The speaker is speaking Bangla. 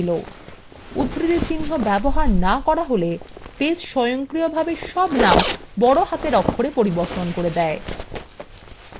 উদ্ধৃতিচিন্হ ব্যবহার names করা হলে base স্বয়ংক্রিয়ভাবে সব names বড় হাতের অক্ষরে পরিবর্তন করবে